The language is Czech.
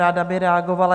Ráda by reagovala.